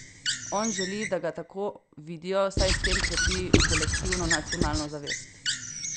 On želi, da ga tako vidijo, saj s tem krepi kolektivno nacionalno zavest.